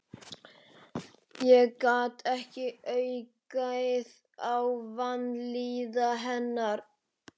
Ég gat ekki aukið á vanlíðan hennar.